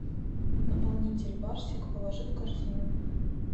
наполнитель барсик положи в корзину